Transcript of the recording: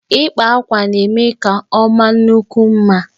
Ịkpa àkwá na-eme ka ọmakwuo mma